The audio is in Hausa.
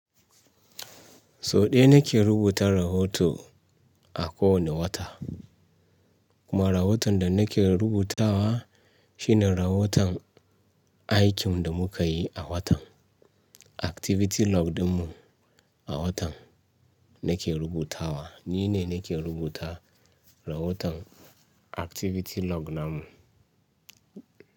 Soɗe nake rubuta rahoto a kowane wata. Kuma rahoton da nake rubutawa shine rahoton aikin da muka yi a watan. Activity log ɗinmu a watan nake rubutawa. Ni ne nake rubuta rahoton activity log na mu.